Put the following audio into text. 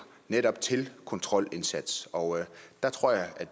netop til en kontrolindsats og der tror jeg at